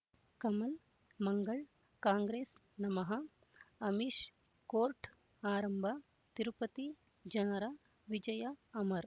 Kamal Mangal Congress ನಮಃ Amish court ಆರಂಭ ತಿರುಪತಿ ಜನರ ವಿಜಯ ಅಮರ್